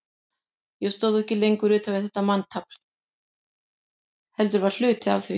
Ég stóð ekki lengur utan við þetta manntafl, heldur var hluti af því.